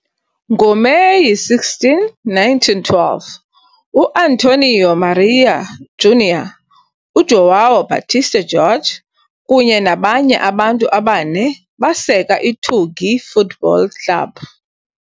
NgoMeyi 16, 1912, U-Antônio Maria Júnior, uJoão Baptista Georg kunye nabanye abantu abane baseka iTugi Football Club.